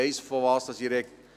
Ich weiss, wovon ich spreche.